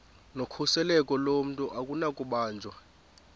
nokhuseleko lomntu akunakubanjwa